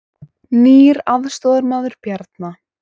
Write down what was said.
Nýr aðstoðarmaður Bjarna